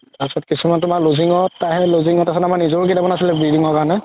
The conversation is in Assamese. তাৰ পিছত তুমাৰ কিছুমান loosing ত তাৰ সেই loosing ত আছিলে আমাৰ নিজৰও কেইটামান আছিলে bleeding ৰ কাৰণে